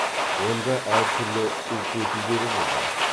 онда әр түрлі ұлт өкілдері болды